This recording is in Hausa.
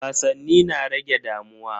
Wasanni na rage damuwa.